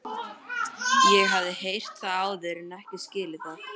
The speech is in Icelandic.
Nei- sagði Bóas án þess að mæta augnaráði föður síns.